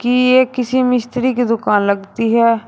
ये किसी मिस्त्री की दुकान लगती है।